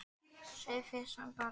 Sauðfé hans bar af.